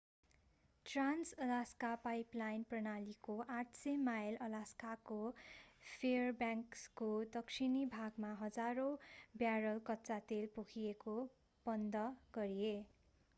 Trans-Alaska pipeline प्रणालीको 800 mile अलास्काको फेयरब्याङ्क्सको दक्षिणी भागमा हजारौं ब्यारल कच्चा तेल पोखिएपछि बन्द गरिए